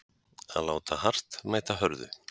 Að láta hart mæta hörðu